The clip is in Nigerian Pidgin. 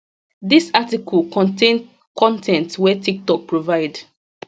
dis article contain con ten t wey tiktok provide